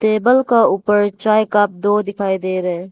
Table का ऊपर चाय कप दो दिखाई दे रहा है।